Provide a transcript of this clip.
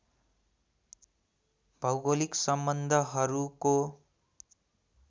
भौगोलिक सम्बन्धहरूको